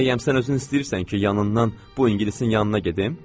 Bəyəm sən özün istəyirsən ki, yanından bu ingilisin yanına gedim?